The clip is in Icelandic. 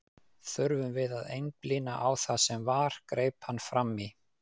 Þurfum við að einblína á það sem var, greip hann fram í.